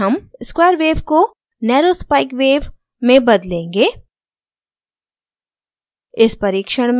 इस परिक्षण में हम square wave को narrow spikes wave संकीर्ण नुकीली wave में बदलेंगे